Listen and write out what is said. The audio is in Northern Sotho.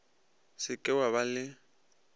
se ke wa ba le